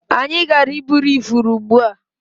Anyị gara iburu ifuru ugbua.